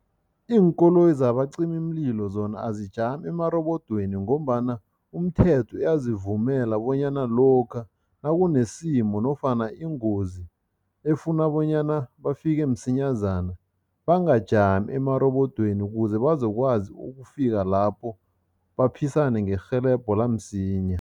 Iinkoloyi zabacimimlilo zona azijami emarobodweni ngombana umthetho uyazivumela bonyana lokha nakunesimo nofana ingozi efuna bonyana bafike msinyazana, bangajami amarobodweni ukuze bazokwazi ukufika lapho baphisane ngerhelebho lamsinya.